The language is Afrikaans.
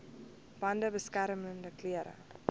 bande beskermende klere